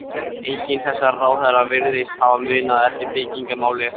Enginn þessara ráðherra virðist hafa munað eftir byggingamáli háskólans.